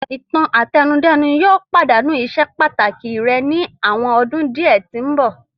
Ìtàn-àtẹnudẹ́nu yóò padanu iṣe pataki rẹ ni awọn ọdun diẹ ti nbọ.